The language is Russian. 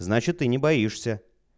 значит ты не боишься